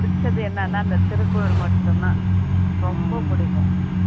புடிச்சது என்னன்னா இந்த திருக்குறள் மட்டும்தான் ரொம்ப பிடிக்கும்